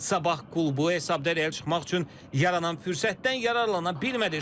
Sabah klubu hesabda irəli çıxmaq üçün yaranan fürsətdən yararlana bilmədi.